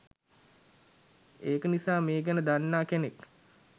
ඒක නිසා මේ ගැන දන්නා කෙනෙක්